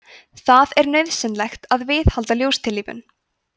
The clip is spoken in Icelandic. það er nauðsynlegt að viðhalda ljóstillífun